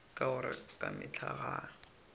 ka gore ka mehla ga